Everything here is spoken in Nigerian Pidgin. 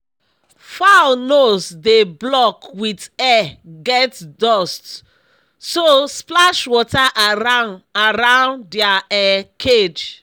fowl nose dey block with air get dust so splash water around around dia um cage